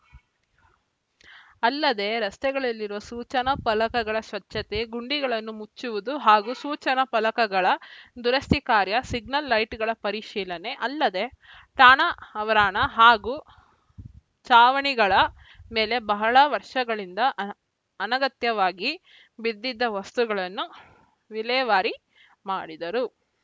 ಅಲ್ಲದೆ ರಸ್ತೆಗಳಲ್ಲಿರುವ ಸೂಚನಾ ಫಲಕಗಳ ಸ್ವಚ್ಛತೆ ಗುಂಡಿಗಳನ್ನು ಮುಚ್ಚುವುದು ಹಾಗೂ ಸೂಚನಾ ಫಲಕಗಳ ದುರಸ್ತಿ ಕಾರ್ಯ ಸಿಗ್ನಲ್‌ ಲೈಟ್‌ಗಳ ಪರಿಶೀಲನೆ ಅಲ್ಲದೆ ಠಾಣಾ ಆವರಣ ಹಾಗೂ ಚಾವಣಿಗಳ ಮೇಲೆ ಬಹಳ ವರ್ಷಗಳಿಂದ ಆನ್ ಅನಗತ್ಯವಾಗಿ ಬಿದ್ದಿದ್ದ ವಸ್ತುಗಳನ್ನು ವಿಲೇವಾರಿ ಮಾಡಿದರು